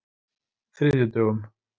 þriðjudögum